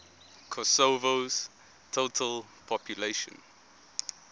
kosovo's total population